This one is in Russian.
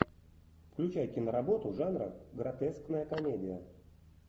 включай киноработу жанра гротескная комедия